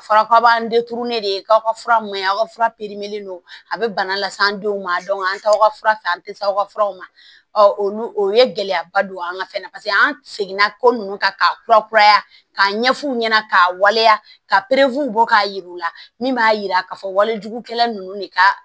Fɔra k'a b'an de k'aw ka fura man ɲi aw ka fura don a bɛ bana las'an denw ma an t'aw ka fura fɛ an tɛ s'aw ka furaw ma olu ye gɛlɛyaba don an ka fɛn na paseke an seginna ko nunnu kan k'a kurakuraya k'a ɲɛf'u ɲɛna k'a waleya ka bɔ k'a jira u la min b'a jira k'a fɔ walejugukɛla ninnu de ka